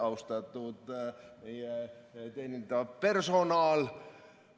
Austatud teenindav personal!